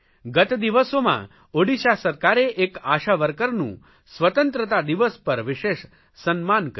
ગત દિવસો માં ઓડિશા સરકારે એક આશા વર્કરનું સ્વતંત્રતા દિવસ પર વિશેષ સન્માન કર્યું